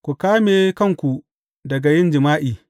Ku ƙame kanku daga yin jima’i.